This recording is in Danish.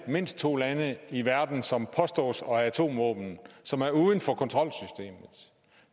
har mindst to lande i verden som påstås at have atomvåben som er uden for kontrolsystemet